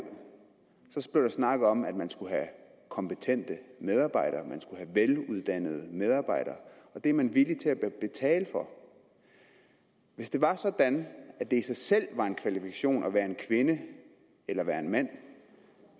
blev der snakket om at man skulle have kompetente medarbejdere man skulle have veluddannede medarbejdere og det er man villig til at betale for hvis det var sådan at det i sig selv var en kvalifikation at være kvinde eller være mand